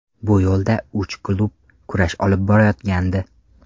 Bu yo‘lda uch klub kurash olib borayotgandi.